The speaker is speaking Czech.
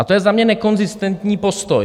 A to je za mě nekonzistentní postoj.